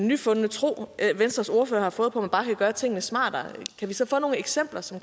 nyfundne tro som venstres ordfører har fået på at man bare kan gøre tingene smartere kan vi så få nogle eksempler som